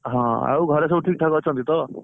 ହଁ ଆଉ ଘରେ ସବୁ ଠିକ ଠାକ ଅଛନ୍ତି ତ?